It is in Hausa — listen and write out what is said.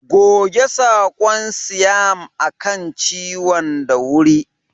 Goge sakon siam a kan ciwon da wuri.